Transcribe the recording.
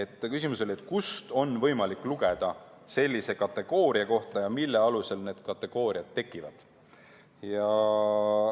Tema küsimus oli, kust on võimalik lugeda sellise kategooria kohta ja mille alusel need kategooriad tekivad.